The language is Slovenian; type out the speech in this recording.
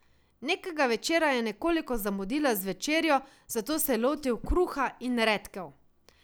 Nekega večera je nekoliko zamudila z večerjo, zato se je lotil kruha in redkev.